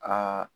Aa